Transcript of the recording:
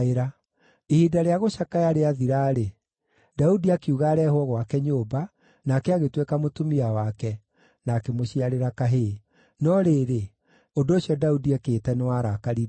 Ihinda rĩa gũcakaya rĩathira-rĩ, Daudi akiuga areehwo gwake nyũmba, nake agĩtuĩka mũtumia wake, na akĩmũciarĩra kahĩĩ. No rĩrĩ, ũndũ ũcio Daudi ekĩte nĩwarakaririe Jehova.